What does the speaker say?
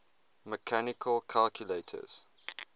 mechanical calculators